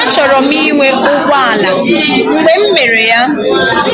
Achọrọ m ịnwe ụgbọ ala ma mgbe m mere ya, m